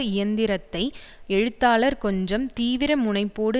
இயந்திரத்தை எழுத்தாளர் கொஞ்சம் தீவிர முனைப்போடு